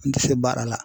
N tɛ fɛ baara la